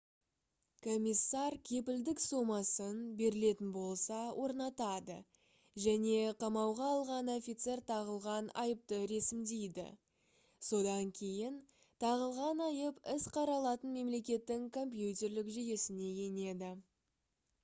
комиссар кепілдік сомасын берілетін болса орнатады және қамауға алған офицер тағылған айыпты ресімдейді. содан кейін тағылған айып іс қаралатын мемлекеттің компьютерлік жүйесіне енеді